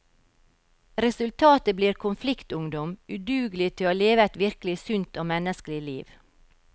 Resultatet blir konfliktungdom, udugelig til å leve et virkelig sunt og menneskelig liv.